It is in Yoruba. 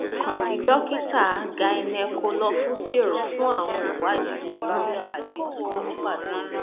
kàn sí dókítà gynecolofusr fún àwọn ìwádìí mìíràn àti ìtọjú ní pàtó